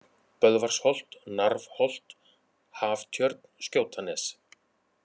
Böðvarsholt, Narfholt, Haftjörn, Skjótanes